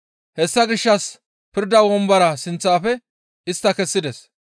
Hessa gishshas pirda wombora sinththafe istta kessides.